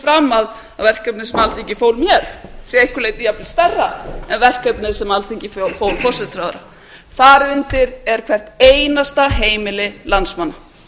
fram að verkefnið sem alþingi fór með sé að einhverju leyti jafnvel stærra en verkefnið sem alþingi fól forsætisráðherra þar undir er hvert einasta heimili landsmanna